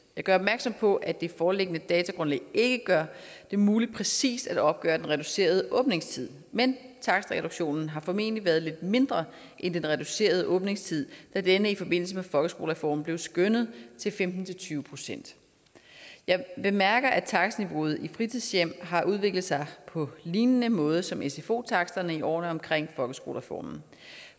gør opmærksom på at det foreliggende datagrundlag ikke gør det muligt præcis at opgøre den reducerede åbningstid men takstreduktionen har formentlig været lidt mindre end det reducerede åbningstid da denne i forbindelse med folkeskolereformen blev skønnet til femten til tyve procent jeg bemærker at takstniveauet i fritidshjem har udviklet sig på lignende måde som sfo taksterne i årene omkring folkeskolereformen